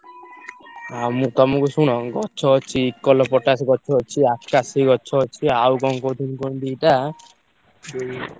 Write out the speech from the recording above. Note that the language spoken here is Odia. ଆଉ ମୁଁ ତମୁକୁ ଶୁଣ ଗଛ ଅଛି ଇଉକାଲିପଟାସ ଗଛ ଅଛି। ଆକାଶି ଗଛ ଅଛି। ଆଉ କଣ କହୁଥିଲି କଣ ଦିଟା ଉଁ।